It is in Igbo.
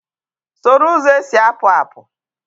Soro ụzọ esi apụ apụ!